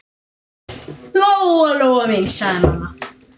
Lóa-Lóa mín, sagði mamma.